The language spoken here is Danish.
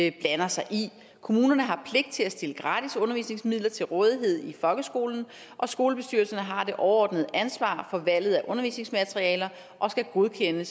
ikke blander sig i kommunerne har pligt til at stille gratis undervisningsmidler til rådighed i folkeskolen og skolebestyrelserne har det overordnede ansvar for valget af undervisningsmaterialer og skal godkende